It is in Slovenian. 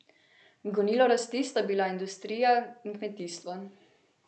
Gonilo rasti sta bila industrija in kmetijstvo.